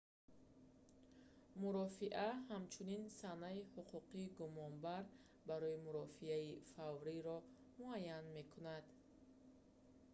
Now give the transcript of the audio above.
мурофиа ҳамчунин санаи ҳуқуқи гумонбар барои мурофиаи фавриро муайян мекунад